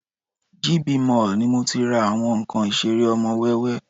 GB Mall ni mo tí ń ra àwọn nǹkan ìṣeré ọmọ wẹ́wẹ́